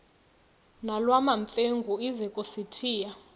nolwamamfengu ize kusitiya